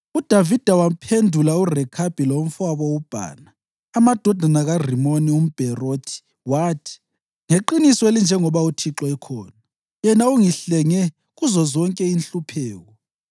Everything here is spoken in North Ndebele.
UDavida waphendula uRekhabi lomfowabo uBhana, amadodana kaRimoni umBherothi wathi, “Ngeqiniso elinjengoba uThixo ukhona, yena ongihlenge kuzozonke inhlupheko,